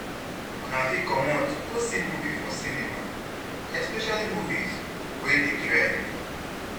Una fit comot go see movie for cinema, especially movies wey dey trend